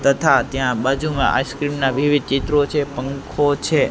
તથા ત્યાં બાજુમાં આઈસ્ક્રીમ ના વિવિધ ચિત્રો છે પંખો છે.